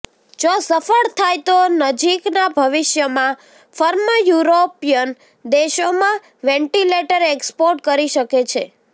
જો સફળ થાય તો નજીકના ભવિષ્યમાં ફર્મ યુરોપિયન દેશોમાં વેન્ટિલેટર એક્સપોર્ટ કરી શકે છે